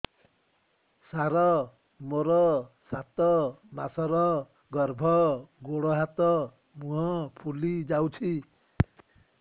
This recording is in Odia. ସାର ମୋର ସାତ ମାସର ଗର୍ଭ ଗୋଡ଼ ହାତ ମୁହଁ ଫୁଲି ଯାଉଛି